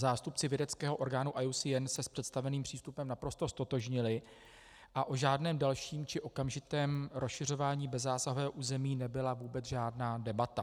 Zástupci vědeckého orgánu IUCN se s představeným přístupem naprosto ztotožnili a o žádném dalším či okamžitém rozšiřování bezzásahového území nebyla vůbec žádná debata.